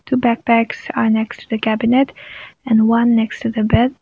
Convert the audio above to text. two backpacks are next to the cabinet and one next to the bed.